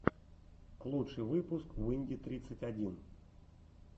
лучший выпуск уинди тридцать один